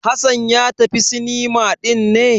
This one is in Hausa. Hassan ya tafi cinema ɗin ne?